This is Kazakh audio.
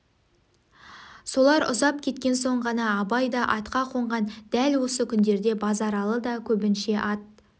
солар ұзап кеткен соң ғана абай да атқа қонған дәл осы күндерде базаралы да көбінше ат